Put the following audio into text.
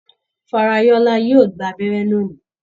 Farayola yóò gbà abẹ́rẹ́ lóni.